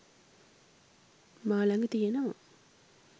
මා ළඟ තියෙනවා